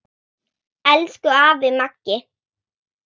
Elsku afi Maggi.